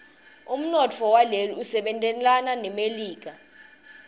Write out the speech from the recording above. umnotfo waleli usebentelana nemelika